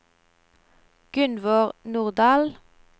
Gunvor Nordahl